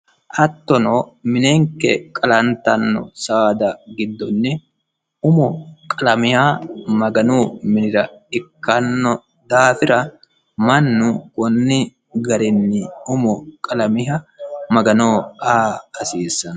Hattono minenike qalanittanno saada gidsonni umo qalamiha maganu minira ikkano daafira mannu konni garinni umo qalamiha maganoho aa hasiisanno